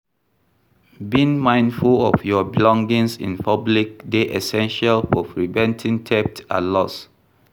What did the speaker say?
Being mindful of your belongings in public dey essential for preventing theft and loss.